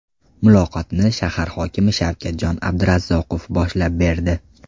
Muloqotni shahar hokimi Shavkatjon Abdurazzaqov boshlab berdi.